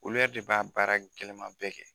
Olu yɛrɛ de b'a baara kɛlɛman bɛɛ kɛ.